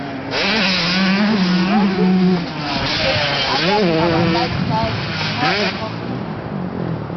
Wetin be di simple ways to adapt our lifestyle to be more eco-friendly?